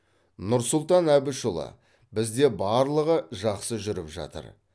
нұрсұлтан әбішұлы бізде барлығы жақсы жүріп жатыр